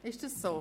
Ist dem so?